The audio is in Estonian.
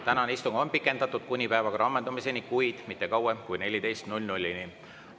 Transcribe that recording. Tänane istung on pikendatud kuni päevakorra ammendumiseni, kuid mitte kauem kui kella 14‑ni.